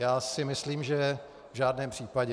Já si myslím, že v žádném případě.